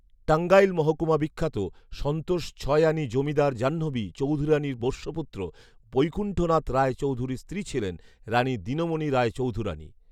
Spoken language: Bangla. টাংগাইল মহকুমা বিখ্যাত সন্তোষ ছয়আনী জমিদার জাহ্নবী চৌধুরানীর পোষ্যপুত্র বৈকুণ্ঠনাথ রায় চৌধুরীর স্ত্রী ছিলেন রাণী দিনমনি রায় চৌধুরাণী